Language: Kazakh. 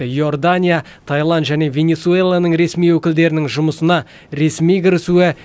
иордания тайланд және венесуэланың ресми өкілдерінің жұмысына ресми кірісуі